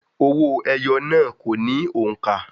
Òwó eyo náà kò ní òǹkà.